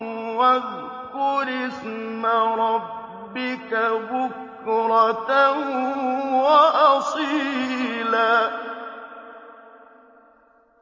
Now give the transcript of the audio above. وَاذْكُرِ اسْمَ رَبِّكَ بُكْرَةً وَأَصِيلًا